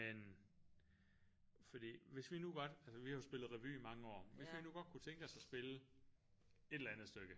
Men fordi hvis vi nu godt altså vi har jo spillet revy i mange år hvis vi nu godt kunne tænke os at spille et eller andet stykke